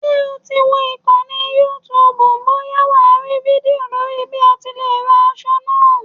Ṣé o ti wo ìkànnì youtube bóyá wà á rí fídíò lórí bí o ti lè rán aṣọ náà?